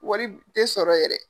Wari te sɔrɔ yɛrɛ.